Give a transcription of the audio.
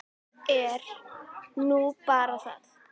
Það er nú bara það.